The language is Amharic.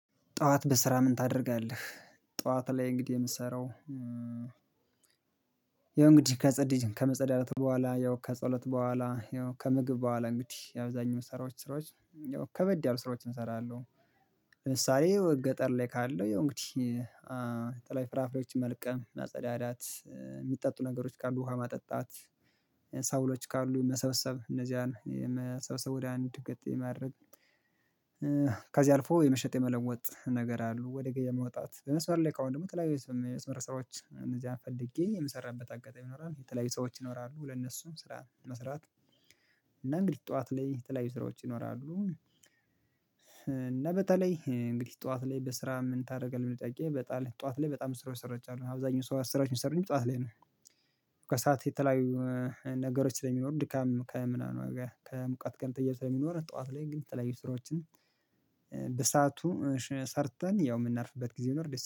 ጠዋት በስራ ምን ታደርጋለህ ጠዋት ላይ እንግዲህ የምሰራው ያው እንግዲህ ከጸዲ ከመጸዳዳት በኋላ ያው ከጸሎት በኋላ ያው ከምግብ በኋላ እንግዲህ አብዛኛው ስራዎች ስራዎች ያው ከበድ ያሉ ስራዎችን እሰራለሁ። ለምሳሌ ገጠር ላይ ካለው እንግዲህ በተለይ ፍራፍሬዎችን መልቀም፣ ማጸዳዳት፣ የሚጠጡ ነገሮች ካሉ ውሃ ማጠጣት ሳውሎች ካሉ መሰብሰብ እነዚያን የመሰብሰብ ወደ አንድ ገጥ የማድረግ ከዚህ አልፎ የመሸጥ የመለሞጥ ነገር አሉ ወደ ገበያ መውጣት በመስመር ላይ ከሆነ ደግሞ ተለያዩ የመስመር ስራዎች እነዚህን ፈልጌ የምሰራበት አጋጣሚ ይኖራል። የተለያዩ ሰዎች ይኖራሉ ለነሱም ስራ መስራት እና እንግዲህ ጠዋት ላይ የተለያዩ ስራዎች ይኖራሉ እና በተለይ እንግዲህ ጠዋት ላይ በስራ ምን ታደርጋለህ ለሚለው ጥያቄ ጠዋት ላይ በጣም ስራዎች ሰርቻለሁ። አብዛኛው ስራዎች የሚሰሩት ጠዋት ላይ ነው። ከሰአት የተለያዩ ነገሮች ስለሚኖሩ ድካም ከምናምን ከሙቀት ጋር ተያይዞ ስለሚኖር ጠዋት ላይ ግን የተለያዩ ስራዎችን በሰአቱ ሰርተን ያው የምናርፍበት ጊዜ ቢኖር